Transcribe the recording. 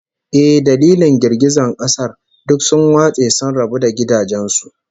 Eh, dalilin girgizan kasar, duk sun watse sun rabu da gidajen su